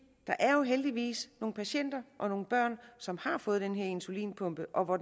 er heldigvis nogle patienter og nogle børn som har fået den her insulinpumpe og for